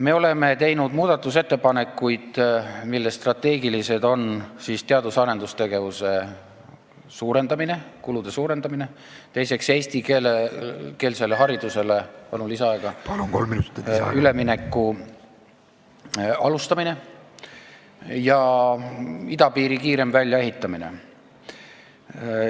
Me oleme teinud muudatusettepanekuid, millest strateegilised on teadus- ja arendustegevuse kulude suurendamine, teiseks eestikeelsele haridusele ülemineku alustamine ja kolmandaks idapiiri kiirem väljaehitamine.